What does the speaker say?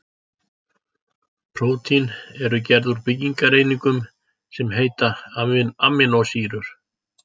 Prótín eru gerð úr byggingareiningum sem heita amínósýrur.